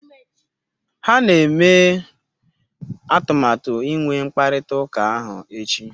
Ha na-eme atụmatụ inwe mkparịta ụka ahụ echi